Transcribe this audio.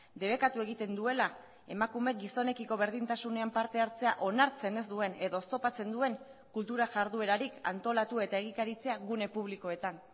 debekatu egiten duela emakume gizonekiko berdintasunean partehartzea onartzen ez duen edo oztopatzen duen kultura jarduerarik antolatu eta egikaritzea gune publikoetan